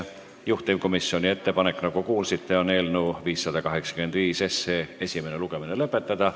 Juhtivkomisjoni ettepanek, nagu kuulsite, on eelnõu 585 esimene lugemine lõpetada.